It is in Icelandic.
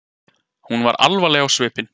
Hún var alvarleg á svipinn.